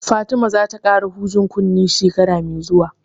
Fatima za ta ƙara hujen kunne shekara mai zuwa